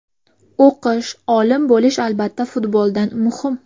O‘qish, olim bo‘lish albatta futboldan muhim.